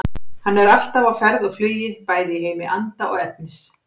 Hann er alltaf á ferð og flugi bæði í heimi anda og efnis.